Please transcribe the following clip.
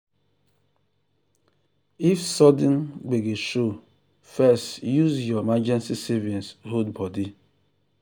if sudden gbege show first use your emergency savings hold body.